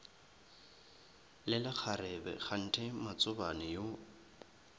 le lekgarebe kganthe matsobane yo